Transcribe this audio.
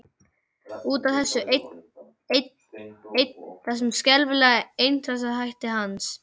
Út af þessu einn, einn, einn, þessum skelfilega einstrengingshætti hans.